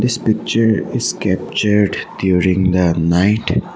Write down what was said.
this picture is captured during the night.